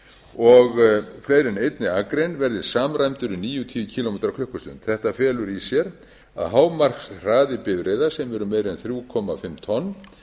og fleiri en einni akrein verði samræmdur í níutíu kílómetrar á klukkustund þetta felur í sér að hámarkshraði bifreiða sem eru meira en þrjú og hálft tonn